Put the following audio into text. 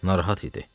Narahat idi.